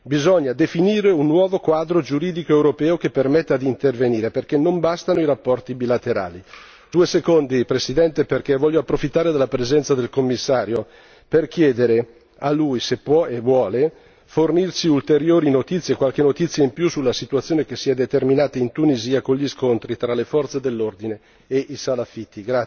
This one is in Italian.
Bisogna definire un nuovo quadro giuridico europeo che permetta di intervenire perché non bastano i rapporti bilaterali. Due secondi Presidente, perché voglio approfittare della presenza del Commissario per chiedere a lui se può e vuole fornirci ulteriori notizie, qualche notizia in più sulla situazione che si è determinata in Tunisia con gli scontri tra le forze dell'ordine e i salafiti.